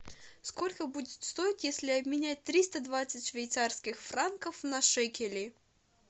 сколько будет стоить если обменять триста двадцать швейцарских франков на шекели